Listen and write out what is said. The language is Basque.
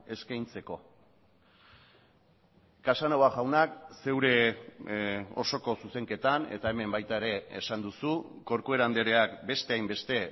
eskaintzeko casanova jaunak zeure osoko zuzenketan eta hemen baita ere esan duzu corcuera andreak beste hainbeste